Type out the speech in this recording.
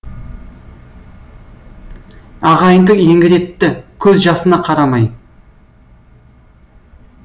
ағайынды еңіретті көз жасына қарамай